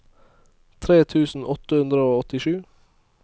tre tusen åtte hundre og åttisju